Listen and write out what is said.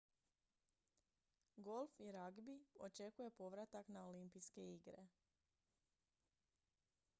golf i ragbi očekuje povratak na olimpijske igre